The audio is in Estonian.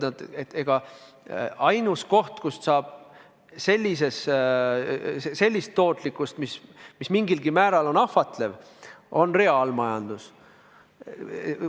Nad ütlevad, et ainus koht, kus saab sellist tootlikkust, mis mingilgi määral on ahvatlev, on reaalmajandus.